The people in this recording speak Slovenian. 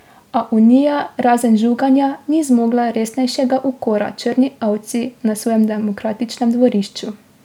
A Unija razen žuganja ni zmogla resnejšega ukora črni ovci na svojem demokratičnem dvorišču.